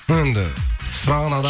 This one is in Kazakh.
енді сұраған адам